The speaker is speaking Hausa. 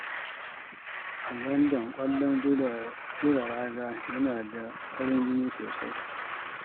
A London, kwallon zura raga yana da farin jini sosai